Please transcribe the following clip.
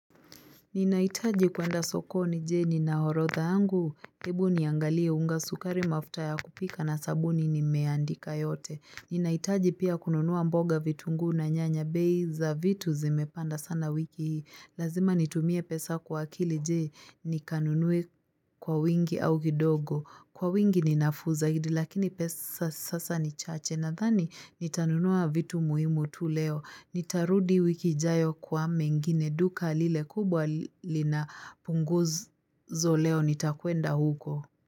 Ninaitaji kuenda sokoni jee nina orodha yangu. Hebu niangalie unga sukari mafuta ya kupika na sabuni nimeandika yote. Ninaitaji pia kununua mboga vitunguu na nyanya bei za vitu zimepanda sana wiki hii. Lazima nitumie pesa kwa akili je nikanunue kwa wingi au kidogo. Kwa wingi ni nafuu zaidi lakini pesa sasa ni chache nadhani nitanunua vitu muhimu tu leo. Nitarudi wiki ijayo kwa mengine duka lile kubwa linapunguzo leo nitakuenda huko.